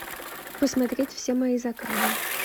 посмотреть все мои заказы